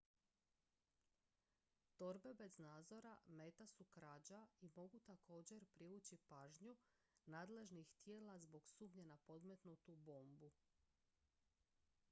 torbe bez nadzora meta su krađa i mogu također privući pažnju nadležnih tijela zbog sumnje na podmetnutu bombu